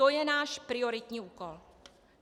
To je náš prioritní úkol.